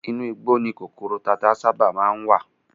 Inú igbó ni kòkòrò tata sábà má ń wà